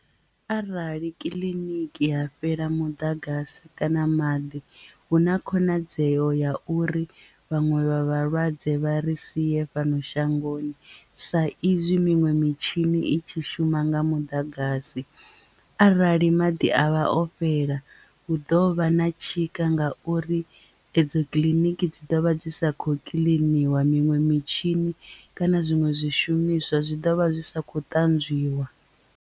Arali kiḽiniki ha fhela muḓagasi kana maḓi hu na khonadzeo ya uri vhaṅwe vha vhalwadze vha ri sie fhano shangoni sa izwi miṅwe mitshini i tshi shuma nga muḓagasi arali maḓi a vha o fhela hu ḓo vha na tshika nga uri edzo kiḽiniki dzi ḓovha dzi sa kho kiḽiniwa miṅwe mitshini kana zwiṅwe zwishumiswa zwi ḓovha zwi sa khou ṱanzwiwa.